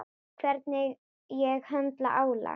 Hvernig ég höndla álag.